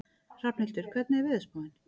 Hrafnhildur, hvernig er veðurspáin?